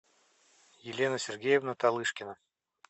елена сергеевна талышкина